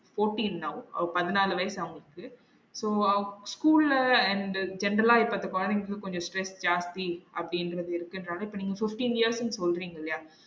Fourteen now அவ பதினாலு வயசு அவளுக்கு so அவ் ஸ்கூல்ல and general இப்ப அந்த பத்து கொழந்தைங்களுக்கு கொஞ்சம் stress ஜாஸ்தி அப்டிங்குறது வரைக்கும் இருக்குன்றது நீங்க fifteen years ன்னு சொல்றீங்க இல்லையா?